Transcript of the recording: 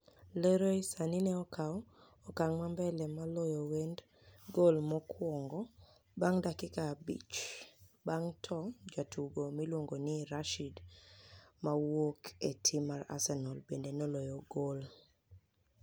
Leroy Saani e nokawo okanig ma mbele loyo wenidi gol mokuonigo banig dakika abich banig'e to jatugo miluonigo nii Rashid mawuoke e tim mar Arsenial benide noloyo gol.